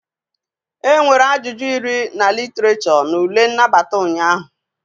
Enwere ajụjụ iri na Literature na ule nnabata ụnyaahụ